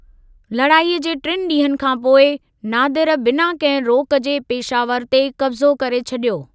लड़ाईअ जे टिनि ॾींहनि खां पोइ, नादिर बिना कंहिं रोक जे पेशावर ते कब्ज़ो करे छॾियो।